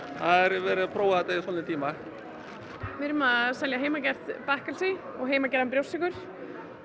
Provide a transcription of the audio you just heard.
verið að prufa þetta í svolítinn tíma ég er með heimagert bakkelsi og heimagerðan brjóstsykur